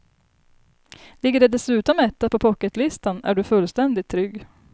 Ligger de dessutom etta på pocketlistan är du fullständigt trygg.